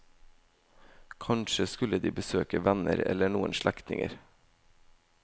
Kanskje skulle de besøke venner eller noen slektninger.